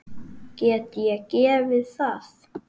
Get ég gefið það?